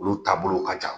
Olu taabolow ka jan